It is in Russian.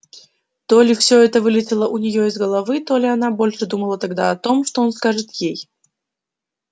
то ли всё это вылетело у неё из головы то ли она больше думала тогда о том что он скажет ей